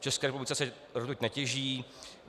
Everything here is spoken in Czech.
V České republice se rtuť netěží.